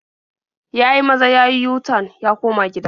Ya yi maza ya yi yu-tan ya koma gida.